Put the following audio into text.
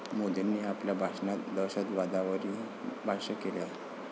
मोदींनी आपल्या भाषणात दहशतवादावरही भाष्य केलं.